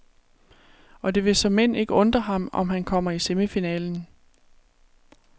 Og det vil såmænd ikke undre ham, om han kommer i semifinalen.